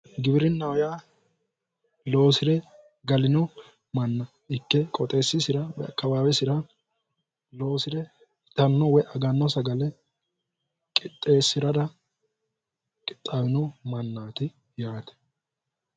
Giwirinnaho yaa loosire galino manna ikke qooxeessisira woyi akkawaawesira loosire itanno woyi aganno sagale qixxeessirara qixxaawino mannaati yaate.